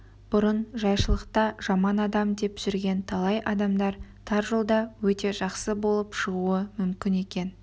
бұрын жайшылықта жаман адам деп жүрген талай адамдар тар жолда өте жақсы болып шығуы мүмкін екен